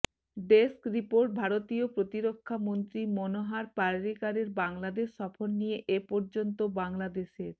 desk report ভারতীয় প্রতিরক্ষা মন্ত্রী মনোহার পার্রিকারের বাংলাদেশ সফর নিয়ে এপর্যন্ত বাংলাদেশের